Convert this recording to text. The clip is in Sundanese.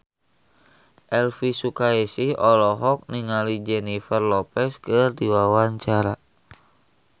Elvy Sukaesih olohok ningali Jennifer Lopez keur diwawancara